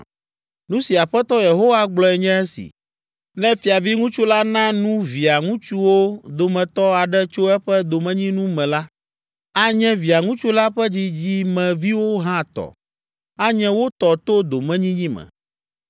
“ ‘Nu si Aƒetɔ Yehowa gblɔe nye esi: Ne fiaviŋutsu la na nu via ŋutsuwo dometɔ aɖe tso eƒe domenyinu me la, anye Via ŋutsu la ƒe dzidzimeviwo hã tɔ; anye wo tɔ to domenyinyi me.